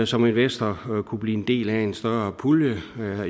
som investor kunne blive en del af i en større pulje